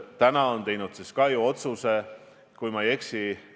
Kui Eestis on eriolukord, siis saab öelda, et seda või teist kontserti ei toimu.